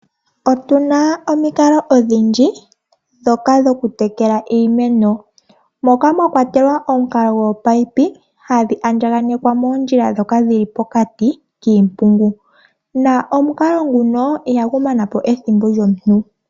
Otuna omikalo odhindji ndhoka dhokutekela iimeno, moka mwa kwatelwa omukalo goopaipi hadhi andjaganekwa moondjila ndhoka dhili pokati kiimpungu nomukalo nguno ihagu mana po ethimbo lyomuntu.